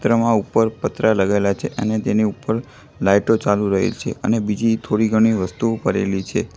ત્રમા ઉપર પતરા લગાઇલા છે અને તેની ઉપર લાઈટો ચાલુ રહી છે અને બીજી થોડી ઘણી વસ્તુઓ પડેલી છે.